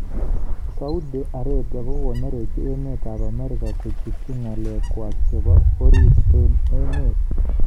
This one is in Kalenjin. Saudi Arabia kokanerekyi emet ab Amerika kochutyi ngalek kwaak chebo orit eng emet